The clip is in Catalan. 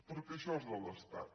perquè això és de l’estat